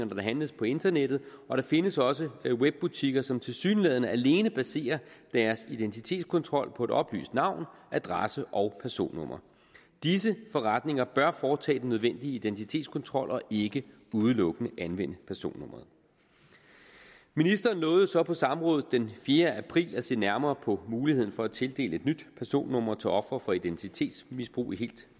der handles på internettet og der findes også webbutikker som tilsyneladende alene baserer deres identitetskontrol på et oplyst navn adresse og personnummer disse forretninger bør foretage den nødvendige identitetskontrol og ikke udelukkende anvende personnummeret ministeren lovede jo så på samrådet den fjerde april at se nærmere på muligheden for at tildele et nyt personnummer til ofre for identitetsmisbrug i helt